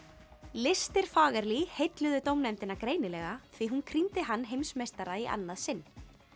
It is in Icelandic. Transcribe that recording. listir heilluðu dómnefndina greinilega því að hún hann heimsmeistara í annað sinn